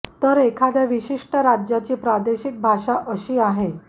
तर एखाद्या विशिष्ट राज्याची प्रादेशिक भाषा असा आहे